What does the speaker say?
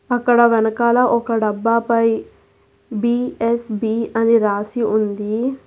అక్కడ వెనకాల ఒక డబ్బాపై బి_ఎస్_బి అని రాసి ఉంది.